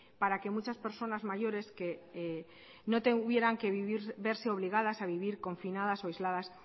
para que muchas personas mayores no tuvieran que verse obligadas a vivir confinadas o aisladas